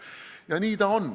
Ja nii ta on.